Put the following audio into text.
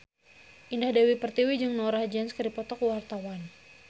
Indah Dewi Pertiwi jeung Norah Jones keur dipoto ku wartawan